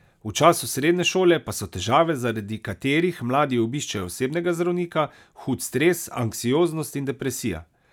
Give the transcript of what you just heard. V času srednje šole pa so težave, zaradi katerih mladi obiščejo osebnega zdravnika, hud stres, anksioznost in depresija.